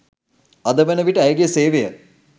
අද වන විට ඇයගේ සේවය